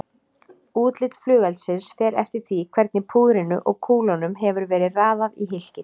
Útlit flugeldsins fer eftir því hvernig púðrinu og kúlunum hefur verið raðað í hylkið.